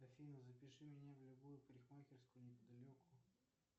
афина запиши меня в любую парикмахерскую неподалеку